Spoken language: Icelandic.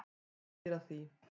Hún býr að því.